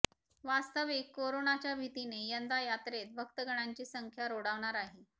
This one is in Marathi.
वास्तविक कोरोनाच्या भीतीने यंदा यात्रेत भक्तगणांची संख्या रोडावणार आहे